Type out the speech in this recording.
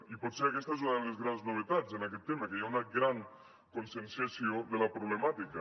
i potser aquesta és una de les grans novetats en aquesta tema que hi ha una gran conscienciació de la problemàtica